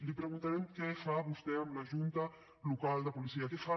li preguntarem què fa vostè amb la junta local de policia què fa